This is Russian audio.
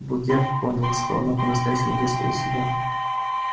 богерт понял что она по-настоящему вышла из себя